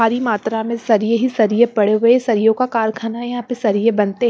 भारी मात्रा में सरिए ही सरिए पड़े हुए सरियों का कारखाना है यहां पर सरिए बनते हैं।